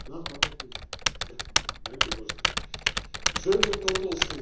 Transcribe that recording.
Zomertortels en kwartels zijn de grote verliezers in Malta.